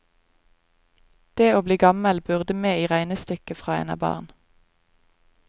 Det å bli gammel burde med i regnestykket fra en er barn.